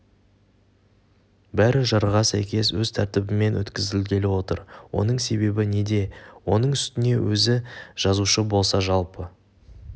бәрі жарғыға сәйкес өз тәртібімен өткізілгелі отыр оның себебі неде оның үстіне өзі жазушы болса жалпы